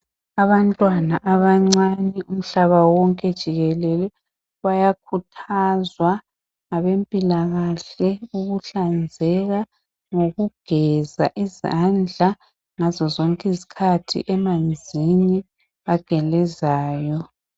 Abantwana abancani umhlaba wonke jikele bayakhuthazwa ngabempilakahle ukuhlanzeka ngokugeza izandla ngazozonke izkhathi emanzini agelezayo.